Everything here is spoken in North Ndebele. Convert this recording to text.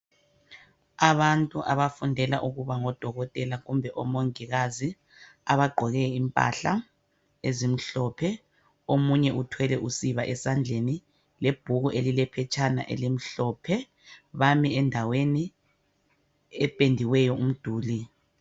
Abantu abafundela ukuba ngo Dokotela kumbe o Mongikazi abagqoke impahla ezimhlophe. Omunye uthwele usiba esandleni lebhuku elilephetshana elimhlophe. Bami endaweni ependiweyo umduli.